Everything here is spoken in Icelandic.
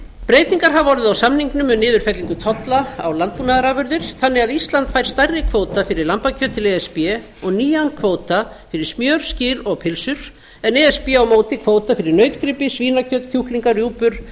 breytingar hafa orðið á samningnum um niðurfellingu tolla á landbúnaðarafurðir þannig að ísland fær stærri kvóta fyrir lambakjöt til e s b og nýjan kvóta fyrir smjör skyr og pylsur en e s b á móti kvóta fyrir nautgripi svínakjöt kjúklinga rjúpur